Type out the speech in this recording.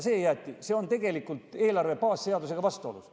See on eelarve baasseadusega vastuolus.